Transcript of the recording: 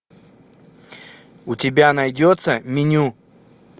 у тебя найдется меню